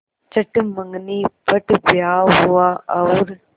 चट मँगनी पट ब्याह हुआ और